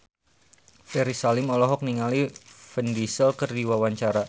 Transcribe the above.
Ferry Salim olohok ningali Vin Diesel keur diwawancara